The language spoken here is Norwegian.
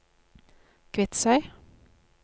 Kvitsøy